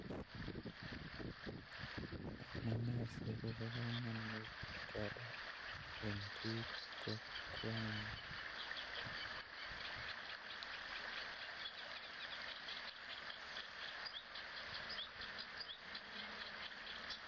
Amune sikobo kamanut koroi en bikab kokwengug